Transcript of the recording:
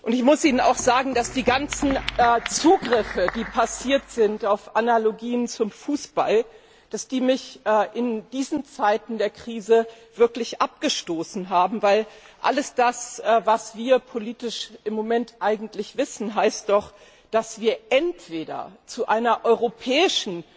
Ich muss Ihnen auch sagen, dass die ganzen Zugriffe, die auf Analogien zum Fußball basieren, mich in diesen Zeiten der Krise wirklich abgestoßen haben, weil alles, was wir politisch im Moment eigentlich wissen, heißt doch, dass wir entweder zu einer europäischen